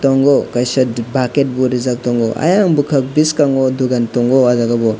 tongo kaisa diba baket bo rijak tango ayang bokak boskango dogan tongo ajabo.